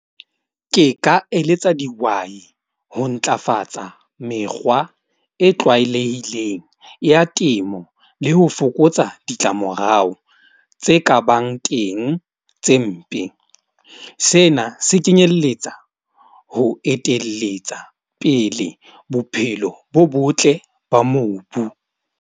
Ke ka eletsa dihwai ho ntlafatsa mekgwa e tlwaelehileng ya temo le ho fokotsa ditlamorao tse ka bang teng tse mpe. Sena se kenyelletsa ho etelletsa pele bophelo bo botle ba mobu.